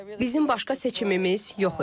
Bizim başqa seçimimiz yox idi.